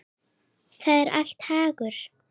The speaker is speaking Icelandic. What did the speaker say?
Það er allra hagur.